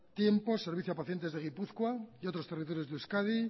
tiempo servicio a pacientes de gipuzkoa y otros territorios de euskadi